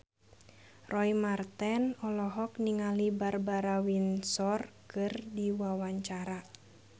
Roy Marten olohok ningali Barbara Windsor keur diwawancara